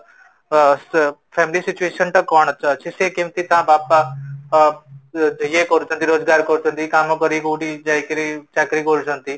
ଅ family situation ଟା କଣ ଚାଲିଛି କେମିତି ସେ କେମିତି ତା ବାପା ୟେ କରୁଛନ୍ତି ରୋଜଗାର କରୁଛନ୍ତି କାମ କରିକି କୋଉଠି ଯାଇକି ଚାକିରୀ କରୁଛନ୍ତି